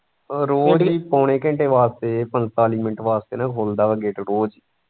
ਰੋਜ਼ ਹੀ ਪੋਣੇ ਘੰਟੇ ਵਾਸਤੇ ਪੰਤਾਲੀ ਮਿੰਟ ਵਾਸਤੇ ਨਾ ਖੁਲਦਾ ਵਾ gate ਰੋਜ਼।